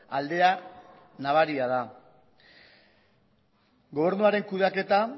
aldea nabaria da gobernuaren kudeaketa